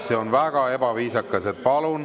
See on väga ebaviisakas!